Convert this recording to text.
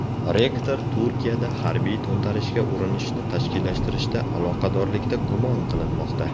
Rektor Turkiyada harbiy to‘ntarishga urinishni tashkillashtirishda aloqadorlikda gumon qilinmoqda.